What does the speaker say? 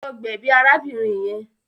Lọ gbèbí arábìnrin yẹn.